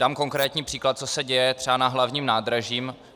Dám konkrétní příklad, co se děje třeba na Hlavním nádraží.